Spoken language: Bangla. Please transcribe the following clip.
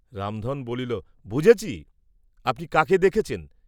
রামধন বলিল, বুঝেছি, আপনি কাকে দেখেছেন?